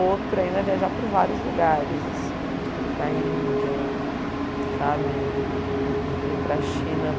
Outro ainda é viajar por vários lugares assim, para a Índia sabe? E para a China.